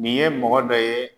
Nin ye mɔgɔ dɔ ye